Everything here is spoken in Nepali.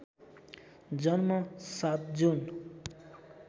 जन्म ७ जुन